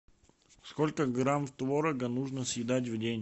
сколько грамм творога нужно съедать в день